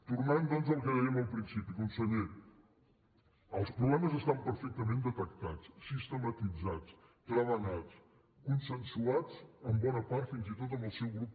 tornant doncs al que dèiem al principi conseller els problemes estan perfectament detectats sistematitzats treballats consensuats en bona part fins i tot amb el seu grup